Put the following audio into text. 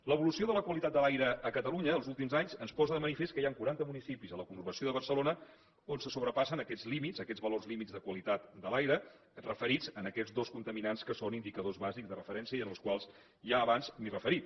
l’evolució de la qualitat de l’aire a catalunya els últims anys ens posa de manifest que hi han quaranta municipis en la conurbació de barcelona on se sobrepassen aquests límits aquests valors límits de qualitat de l’aire referits en aquests dos contaminants que són indicadors bàsics de referència i als quals ja abans m’hi he referit